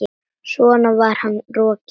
Svo var hann rokinn.